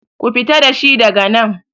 Ku fita dashi daga nan!